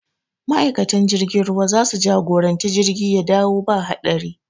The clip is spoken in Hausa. Ma'aikatan jirgin ruwa za su jagori jirgin ya dawo ba haɗari